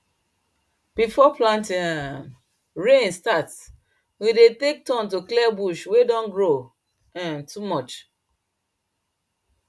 before planting um rain start we dey take turn to clear bush wey don grow um too much